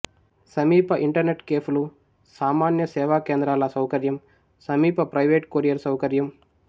సమీప ఇంటర్నెట్ కెఫెలు సామాన్య సేవా కేంద్రాల సౌకర్యం సమీప ప్రైవేటు కొరియర్ సౌకర్యం